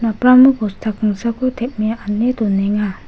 napramo bosta kingsako tem·e ane donenga.